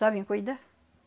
Sabem cuidar.